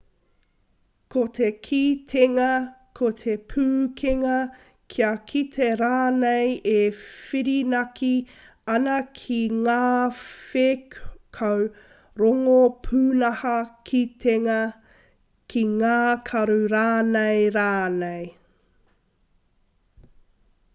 ko te kitenga ko te pūkenga kia kite rānei e whirinaki ana ki ngā whēkau rongo pūnaha kitenga ki ngā karu rānei rānei